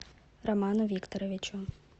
роману викторовичу